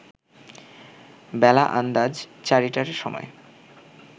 বেলা আন্দাজ চারিটার সময়